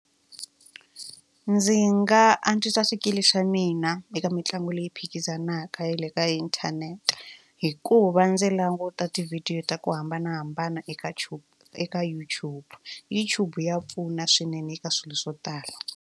Ndzi nga antswisa swikili swa mina eka mitlangu leyi phikizanaka ya le ka inthanete hikuva ndzi languta tivhidiyo ta ku hambanahambana eka tube eka YouTube YouTube ya pfuna swinene eka swilo swo tala.